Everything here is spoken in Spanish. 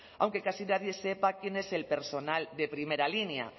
aunque casi nadie sepa quién es el personal de primera línea